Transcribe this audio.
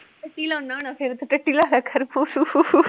ਕੀ ਲਾਉਨਾ ਹੁਨਾ ਫੇਰ, ਟੱਟੀ ਲਾਇਆ ਕਰ